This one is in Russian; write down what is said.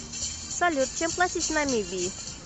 салют чем платить в намибии